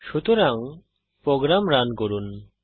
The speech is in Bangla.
সুতরাং প্রোগ্রাম রান করুন